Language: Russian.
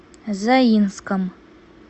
заинском